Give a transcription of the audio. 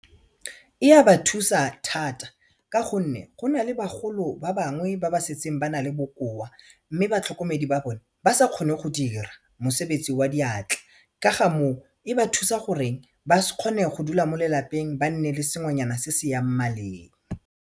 E ya ba thusa thata ka gonne go na le bagolo ba bangwe ba ba setseng ba na le bokoa mme batlhokomedi ba bone ba sa kgone go dira mosebetsi wa diatla ka ga moo e ba thusa gore ba kgone go dula mo lelapeng ba nne le sengwenyana se se yang maleng.